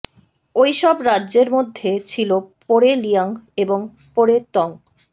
ঐসব রাজ্যের মধ্যে ছিল পরে লিয়াং এবং পরে তং